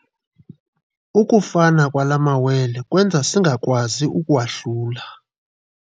Ukufana kwala mawele kwenza ukuba singakwazi kuwahlula.